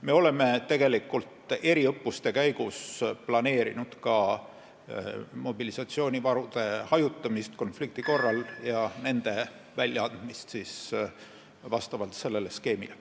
Me oleme eriõppuste käigus planeerinud ka mobilisatsioonivarude hajutamist konflikti korral ja nende väljaandmist vastavalt sellele skeemile.